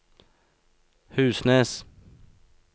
Husnes